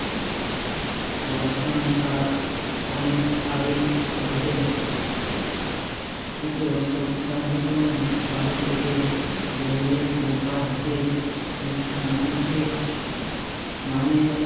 ধর্ষণটা অনেক আগেই ঘটে কিন্তু স~ সন্দেহ নেই বাড়ি থেকে বেরিয়ে দু পা হেঁটেই সে ট্রামে উঠে নামে